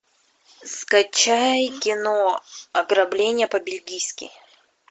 скачай кино ограбление по бельгийски